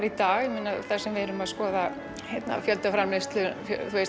í dag þar sem við erum að skoða fjöldaframleiðslu